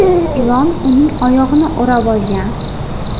Ilon uning oyog‘ini o‘rab olgan.